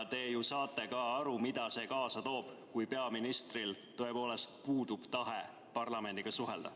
Te ju saate aru, mida see kaasa toob, kui peaministril tõepoolest puudub tahe parlamendiga suhelda.